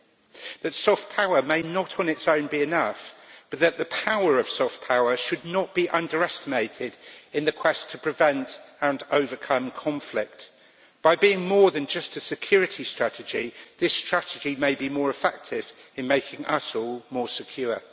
It means that soft power may not on its own be enough, but the power of soft power should not be underestimated in the quest to prevent and overcome conflict by being more than just a security strategy, this strategy may be more effective in making us all more secure.